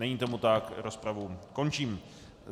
Není tomu tak, rozpravu končím.